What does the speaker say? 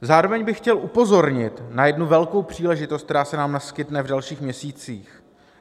Zároveň bych chtěl upozornit na jednu velkou příležitost, která se nám naskytne v dalších měsících.